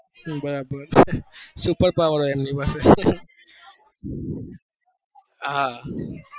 હા બરાબર super power હોય એમની પાસે હા